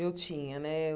Eu tinha, né?